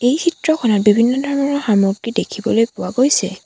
এই চিত্ৰখনত বিভিন্ন ধৰণৰ সামগ্ৰী দেখিবলৈ পোৱা গৈছে।